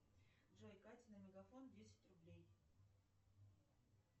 джой кате на мегафон десять рублей